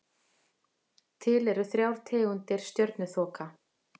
Til eru þrjár tegundir stjörnuþoka.